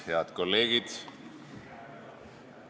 Head kolleegid!